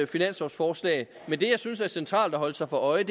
finanslovforslag men det jeg synes er centralt at holde sig for øje